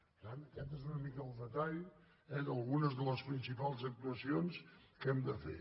per tant aquest és una mica el detall d’algunes de les principals actuacions que hem de fer